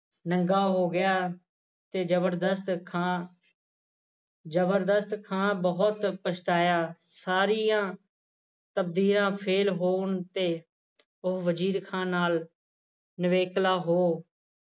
ਨੰਗਾ ਹੋ ਗਿਆ ਤੇ ਜ਼ਬਰਦਸਤ ਖ਼ਾਂ ਜ਼ਬਰਦਸਤ ਖ਼ਾਂ ਬਹੁਤ ਪਛਤਾਇਆ ਸਾਰੀਆਂ ਤਪਦੀਆਂ ਫੇਲ ਹੋਣ ਤੇ ਉਹ ਵਜ਼ੀਰ ਖ਼ਾਂ ਨਾਲ ਨਿਵੇਕਲਾ ਹੋ